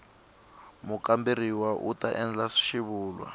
mukamberiwa u ta endla xivulwa